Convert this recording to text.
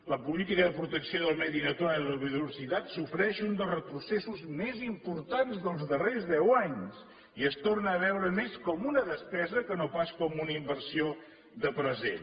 la política de protecció del medi natural i la biodiversitat sofreix un dels retrocessos més importants dels darrers deu anys i es torna a veure més com una despesa que no pas com una inversió de present